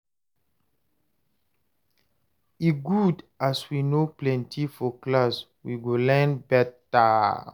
e good as we no plenty for class, we go learn better